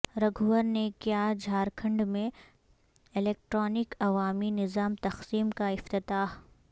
رگھوور نے کیا جھارکھنڈ میں الیکٹرانک عوامی نظام تقسیم کاافتتاح